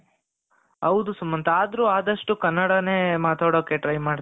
ಹೌದು ಸುಮಂತ ಆದ್ರೂ ಆದಷ್ಟು ಕನ್ನಡನೇ ಮಾತಾಡಕ್ಕೆ try ಮಾಡುತ್ತಾರೆ